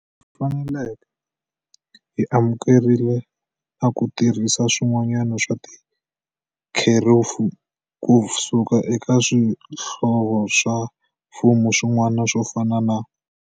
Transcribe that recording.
Faneleke, hi amukerile na ku tirhisa switiviwa swa tikherefu ku suka eka swihlovo swa mfumo swin'wana swo fana na.